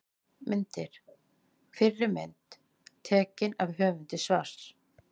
Myndir: Fyrri mynd: Tekin af höfundi svars.